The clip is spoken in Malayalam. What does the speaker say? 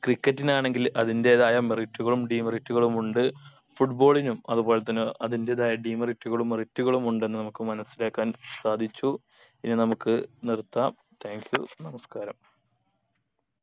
cricket നാണെങ്കിൽ അതിന്റെതായ merit കളും demerit കളും ഉണ്ട് football നും അത് പോലെ തന്നെ അതിന്റേതെയ demerit കളും merit കളും ഉണ്ടെന്ന് നമുക്ക് മനസിലാക്കാൻ സാധിച്ചു ഇനി നമുക്ക് നിർത്താം thank you നമസ്കാരം